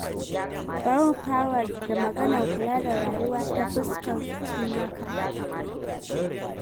Bari mu fara da maganar kula da rayuwa, ta fuskar cimaka.